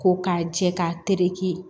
Ko k'a jɛ k'a tereke